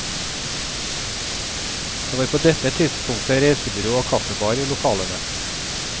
Det var på dette tidspunktet reisebyrå og kaffebar i lokalene.